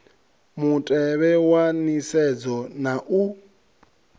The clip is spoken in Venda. mutevhe wa nisedzo na u